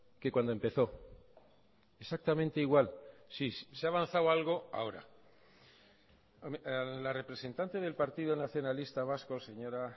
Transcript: que cuando empezó exactamente igual sí se ha avanzado algo ahora a la representante del partido nacionalista vasco señora